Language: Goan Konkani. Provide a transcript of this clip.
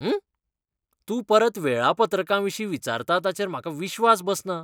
उह, तूं परत वेळापत्रकाविशीं विचारता ताचेर म्हाका विश्वास बसना!